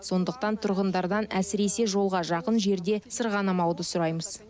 сондықтан тұрғындардан әсіресе жолға жақын жерде сырғанамауды сұраймыз